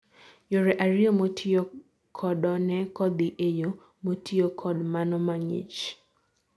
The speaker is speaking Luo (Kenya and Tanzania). yore ariyo motiyo kodo ne kodhi en yo motio kod mano mang'ich